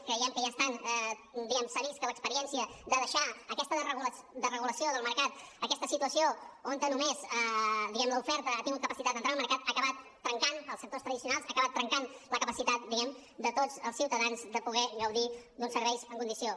creiem que ja estan diguem ne que s’ha vist que l’experiència de deixar aquesta desregulació del mercat aquesta situació on només l’oferta ha tingut capacitat d’entrar al mercat ha acabat trencant els sectors tradicionals ha acabat trencant la capacitat de tots els ciutadans de poder gaudir d’uns serveis en condicions